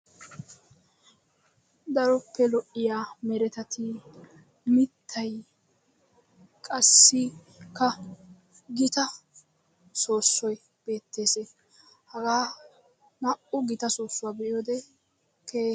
Daroppe lo'iyaa merettati mittay qassikka giitta soossoy beettes, haggaa na'u gitta soossuwaa be'yodde keehippe lo'es.